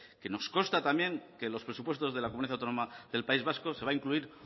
que nos consta también que en los presupuestos de la comunidad autónoma del país vasco se va a incluir